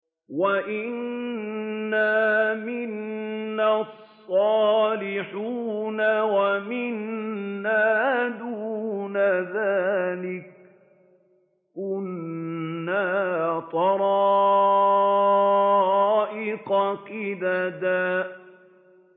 وَأَنَّا مِنَّا الصَّالِحُونَ وَمِنَّا دُونَ ذَٰلِكَ ۖ كُنَّا طَرَائِقَ قِدَدًا